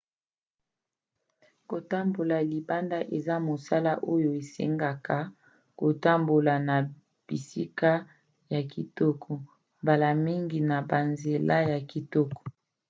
kotambola libanda eza mosala oyo esengaka kotambola na bisika ya kitoko mbala mingi na banzela ya kitoko